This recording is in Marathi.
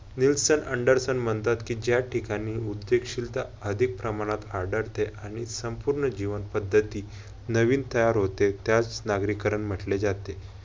निल्सोन अँडरसन म्हणतात कि ज्या ठिकाणी उद्यमशीलता अधिक प्रमाणात आढळते, आणि संपूर्ण जीवन पद्धती नवीन तयार होते त्यास नागरीकरण म्हंटले जाते.